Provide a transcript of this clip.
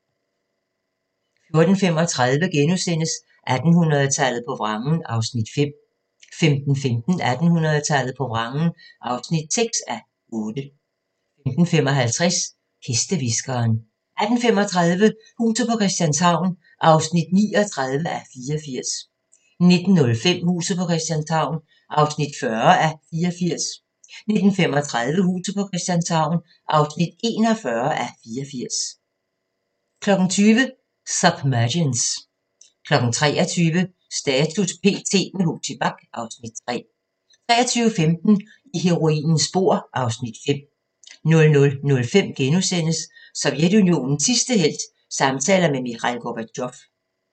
14:35: 1800-tallet på vrangen (5:8)* 15:15: 1800-tallet på vrangen (6:8) 15:55: Hestehviskeren 18:35: Huset på Christianshavn (39:84) 19:05: Huset på Christianshavn (40:84) 19:35: Huset på Christianshavn (41:84) 20:00: Submergence 23:00: Status p.t. – med Huxi Bach (Afs. 3) 23:15: I heroinens spor (Afs. 5) 00:05: Sovjetunionens sidste helt – samtaler med Mikhail Gorbatjov *